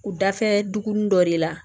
U da fɛ duguni dɔ de la